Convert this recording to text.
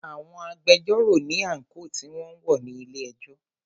Àwọn agbẹjọ́rò ní àńkò tí wọn ń wọ̀ ní ilé ẹjọ́.